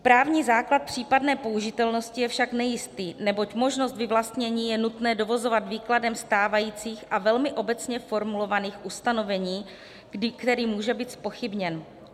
Právní základ případné použitelnosti je však nejistý, neboť možnost vyvlastnění je nutné dovozovat výkladem stávajících a velmi obecně formulovaných ustanovení, který může být zpochybněn.